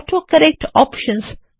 autocorrect options